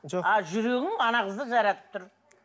жоқ а жүрегің ана қызды жаратып тұр